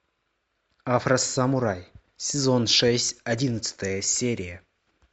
афросамурай сезон шесть одиннадцатая серия